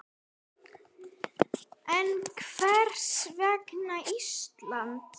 En hvers vegna Ísland?